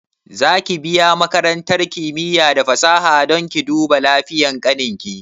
Za ki biya makarantar kimiya da fasaha don ki duba lafiyan ƙanin ki?